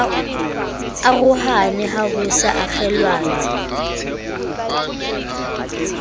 arohane ha ho sa okgelanwa